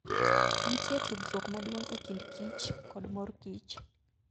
Nitie tudruok maduong' e kind kich kod mor kich.